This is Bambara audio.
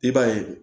I b'a ye